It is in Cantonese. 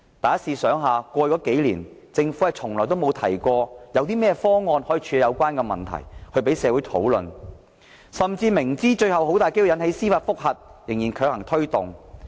大家試想想，過去數年，政府從來沒有提過有甚麼方案可以處理有關問題，讓社會討論，甚至明知最後很有可能引起司法覆核仍強行推動。